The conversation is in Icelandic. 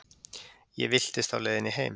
Ég villtist á leiðinni heim.